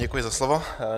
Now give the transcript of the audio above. Děkuji za slovo.